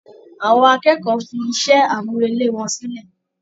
Àwọn akẹ́kọ̀ọ́ fi iṣẹ́-àmúrelé wọn sílẹ̀.